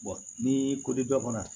ni ko di bɛɛ bana